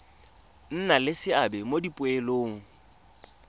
nna le seabe mo dipoelong